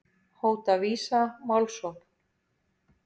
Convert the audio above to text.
Hóta Visa málsókn